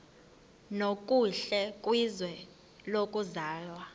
nokuhle kwizwe lokuzalwa